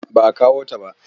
Ba a kawo ta ba.